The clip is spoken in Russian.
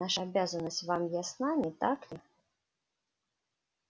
наша обязанность вам ясна не так ли